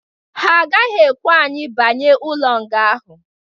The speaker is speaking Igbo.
Ha gaghị ekwe anyi banye ụlo nga ahụ